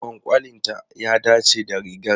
Kwankwalinta ya dace da rigar.